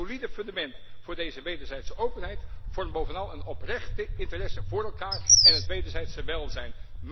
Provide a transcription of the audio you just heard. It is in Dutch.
Een solide fundament voor deze wederzijdse openheid vormt bovenal een oprechte interesse voor elkaar en het wederzijdse welzijn.